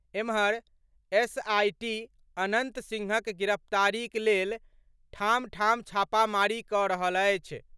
एम्हर, एसआइटी अनन्त सिंहक गिरफ्तारीक लेल ठाम ठाम छापामारी कऽ रहल अछि।